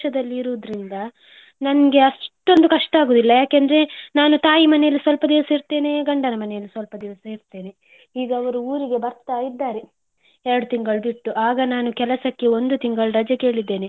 ಇರುದರಿಂದ ನನ್ಗೆ ಅಷ್ಟೊಂದು ಕಷ್ಟ ಆಗುದಿಲ್ಲ. ನಾನು ತಾಯಿ ಮನೆಯಲ್ಲಿ ಸ್ವಲ್ಪ ದಿವ್ಸ ಇರ್ತೇನೆ ಗಂಡನ ಮನೆಯಲ್ಲಿ ಸ್ವಲ್ಪ ದಿವ್ಸ ಇರ್ತೇನೆ. ಈಗ ಅವ್ರು ಊರಿಗೆ ಬರ್ತಾ ಇದ್ದಾರೆ ಎರಡು ತಿಂಗಳು ಬಿಟ್ಟು ಆಗ ನಾನು ಕೆಲಸಕ್ಕೆ ಒಂದು ತಿಂಗಳು ರಜೆ ಕೇಳಿದ್ದೇನೆ.